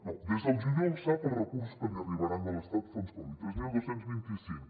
no des del juliol sap els recursos que li arribaran de l’estat fons covid tres mil dos cents i vint cinc